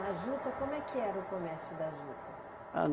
Mas juta, como é que era o comércio da juta? Ah